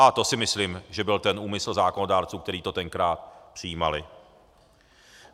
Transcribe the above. A to si myslím, že byl ten úmysl zákonodárců, kteří to tenkrát přijímali.